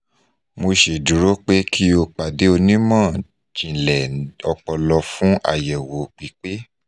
mo ṣeduro pe ki o pade onimọ-jinlẹ opolo fun ayewo pipe